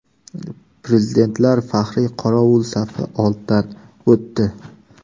Prezidentlar faxriy qorovul safi oldidan o‘tdi.